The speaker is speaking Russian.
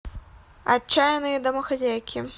отчаянные домохозяйки